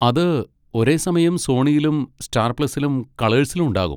അത് ഒരേസമയം സോണിയിലും സ്റ്റാർ പ്ലസിലും കളേഴ്സിലും ഉണ്ടാകും.